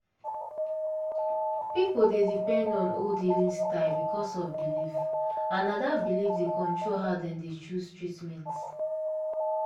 people dey depend on old healing style because of belief and na that belief dey control how dem dey choose treatment.